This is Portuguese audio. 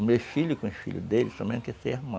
O meu filho com os filhos dele, somente esse é irmão.